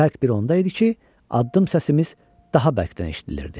Bərk bir onda idi ki, addım səsimiz daha bərkdən eşidilirdi.